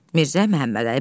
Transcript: Mirzə Məhəmmədəli.